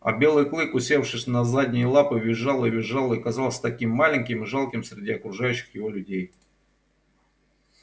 а белый клык усевшись на задние лапы визжал и визжал и казался таким маленьким и жалким среди окружающих его людей